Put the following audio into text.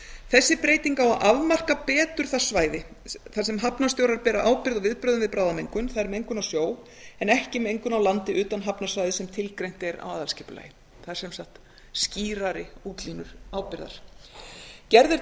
þessi breyting á að afmarka betur það svæði þar sem hafnarstjórar bera ábyrgð á viðbrögðum við bráðamengun það er mengun á sjó en ekki mengun á landi utan hafnarsvæðis sem tilgreint er á aðalskipulagi það eru sem sagt skýrari útlínur ábyrgðar gerð er